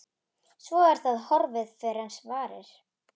Svo er það horfið fyrr en varir.